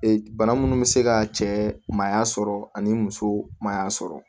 Ee bana munnu be se ka cɛ maa sɔrɔ ani muso maya sɔrɔ